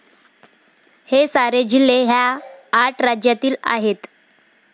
हे सारे जिल्हे ह्या आठ राज्यातील आहेत.